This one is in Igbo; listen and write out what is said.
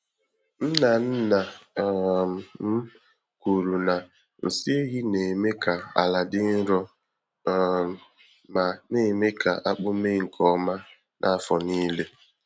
Nna nna um m kwuru na nsị ehi na-eme ka ala dị nro um ma némè' ka akpụ mee nke ọma n'afọ nílé.